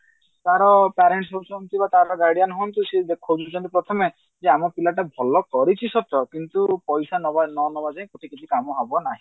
ତାର parents କିମ୍ବା ତାର guardian ହୁଅନ୍ତୁ ସେ ଖୋଜୁଛନ୍ତି ପ୍ରଥମେ ଯେ ଆମ ପିଲାଟା ଭଲ କରିଛି ସତ କିନ୍ତୁ ପଇସା ନବା ନ ନବା ଯାଏ କୋଉଠି କିଛି କାମ ହବ ନାହିଁ